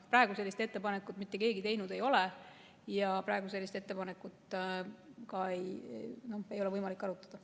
Praegu sellist ettepanekut mitte keegi teinud ei ole ja praegu pole sellist ettepanekut ka võimalik arutada.